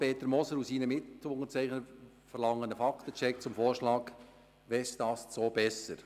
Peter Moser und seine Mitunterzeichner verlangen einen Fakten-Check zum Vorschlag «Westast so besser».